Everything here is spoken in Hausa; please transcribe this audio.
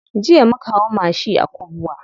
Jiya muka hau mashi a Kubwa.